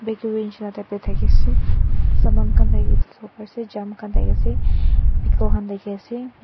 bakery nishina type thakiase saman khan tate dikhiwo pariase jam khan thakiase pickle khan thakiase.